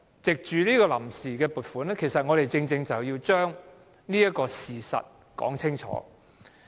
藉着審議臨時撥款的決議案，我們正正要把這個事實說清楚。